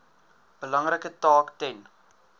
belangrike taak ten